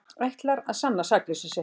Ætlar að sanna sakleysi sitt